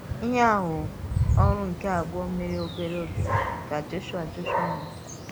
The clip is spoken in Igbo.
Íhè um ọ̀rụ̀ nke àbụ̀ọ̀ mèrè obere ògé kà Jọ̀shụà Jọ̀shụà nwụ̀chàrà.